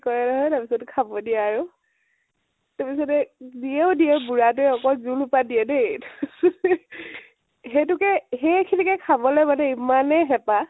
কয় নহয় । তাৰপিছতে খাব দিয়ে আৰু । তাৰ পিছতে দিয়েও দিয়ে বুড়াতোৱে অকল জুল সোপা দিয়ে দেই । সেইতোকে, সেইখিনিকে খাবলৈ মানে এমানেই হেপাহ ।